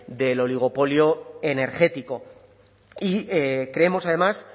del oligopolio energético y creemos además